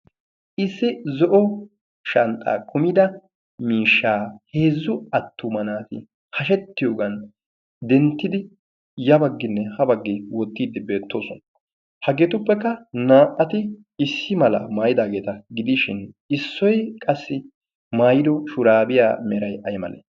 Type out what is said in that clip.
issi zo7o shanxxa kumida miishshaa heezzu attuma naati hashettiyoogan denttidi yabagginne ha baggee wottiiddi beettoosona. haggeetuppekka naa77ati issi mala maayidaageeta gidiishin issoi qassi mairo shuraabiyaa merai ai male?